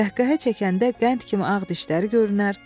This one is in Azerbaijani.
Qəhqəhə çəkəndə qənd kimi ağ dişlər görünər.